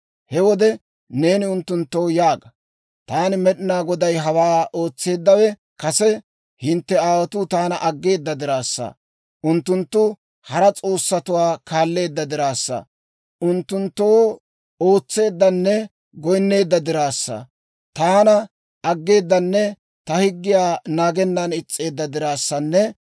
He wode neeni unttunttoo yaaga; ‹ «Taani Med'inaa Goday hawaa ootseeddawe kase hintte aawotuu taana aggeeda diraassa, unttunttu hara s'oossatuwaa kaalleedda diraassa, unttunttoo ootseeddanne goyinneedda diraassa, taana aggeedanne ta higgiyaa naagennan is's'eedda diraassanne